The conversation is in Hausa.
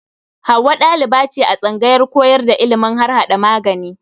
Hauwa ɗaliba ce a tsangayar koyar da ilimin harhaɗa magani.